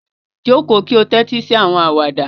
Joko ki o tẹtisi awọn awada